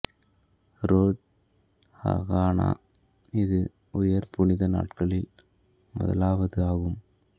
ரோஷ் Hashanah இது உயர் புனித நாட்களில் முதலாவது ஆகும்